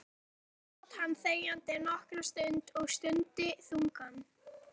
Þar sat hann þegjandi nokkra stund og stundi þungan.